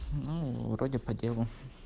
ну вроде по делу